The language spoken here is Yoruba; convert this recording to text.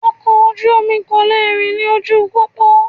Ọkọ̀ oju-omi kò le rìn ní ojú pópó